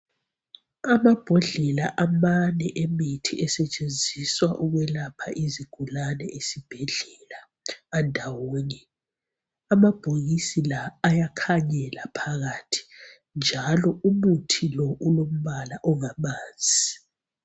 Amabhodlela amane alemithi esetshenziswa ukwelapha izigulane esibhedlela andawonye amabhokisi la ayakhanyela phakathi njalo umuthi lo ulombala ongamanzi